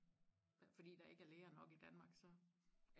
fordi der ikke er læger nok i Danmark så